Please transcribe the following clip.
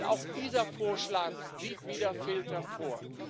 Und auch dieser Vorschlag sieht wieder Filter vor.